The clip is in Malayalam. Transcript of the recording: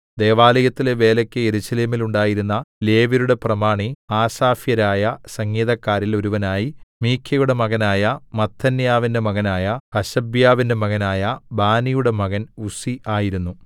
ദൈവാലയത്തിലെ വേലയ്ക്ക് യെരൂശലേമിൽ ഉണ്ടായിരുന്ന ലേവ്യരുടെ പ്രമാണി ആസാഫ്യരായ സംഗീതക്കാരിൽ ഒരുവനായി മീഖയുടെ മകനായ മത്ഥന്യാവിന്റെ മകനായ ഹശബ്യാവിന്റെ മകനായ ബാനിയുടെ മകൻ ഉസ്സി ആയിരുന്നു